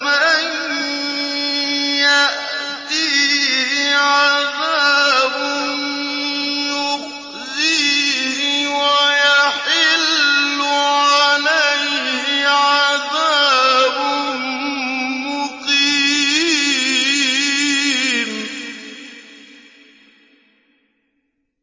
مَن يَأْتِيهِ عَذَابٌ يُخْزِيهِ وَيَحِلُّ عَلَيْهِ عَذَابٌ مُّقِيمٌ